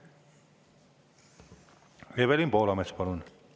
Evelin Poolamets, palun!